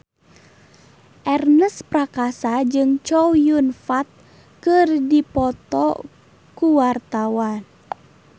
Ernest Prakasa jeung Chow Yun Fat keur dipoto ku wartawan